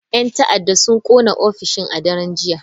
Yan ta'adda sun kona ofishin a daren jiya.